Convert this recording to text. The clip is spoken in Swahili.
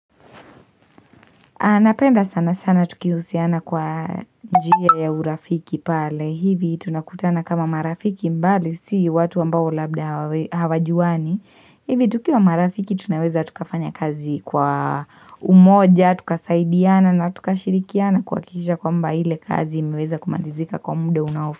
Napenda sana sana tukihusiana kwa njia ya urafiki pale, hivi tunakutana kama marafiki mbali, si watu ambao labda hawajuwani, hivi tukiwa marafiki tunaweza tukafanya kazi kwa umoja, tukasaidiana na tukashirikiana kuhakikisha kwamba ile kazi imeweza kumalizika kwa muda unaofa.